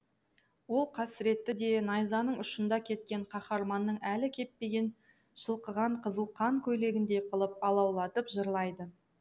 ол қасіретті де найзаның ұшында кеткен қаһарманның әлі кеппеген шылқыған қызыл қан көйлегіндей қылып алаулатып жырлайды